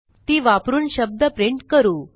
ती वापरून शब्द प्रिंट करू